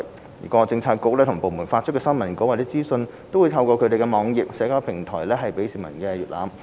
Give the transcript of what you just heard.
政府各政策局及部門發出的新聞稿或資訊均透過其網頁及社交平台提供予市民瀏覽。